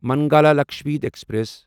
Mangala Lakshadweep express